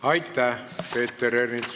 Aitäh, Peeter Ernits!